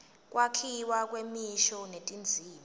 kwakhiwa kwemisho netindzima